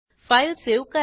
file save करा